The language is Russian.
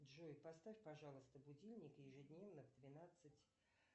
джой поставь пожалуйста будильник ежедневно в двенадцать